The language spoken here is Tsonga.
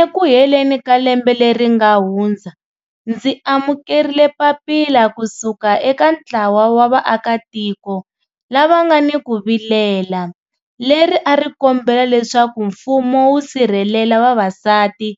Eku heleni ka lembe leri nga hundza, ndzi amukerile papila ku suka eka ntlawa wa vaakatiko lava nga ni ku vilela, leri a ri kombela leswaku mfumo wu sirhelela vavasati